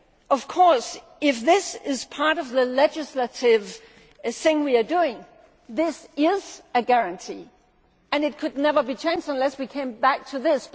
Of course, if this is part of the legislative measure we are taking, this is a guarantee. It could never be changed unless we came back to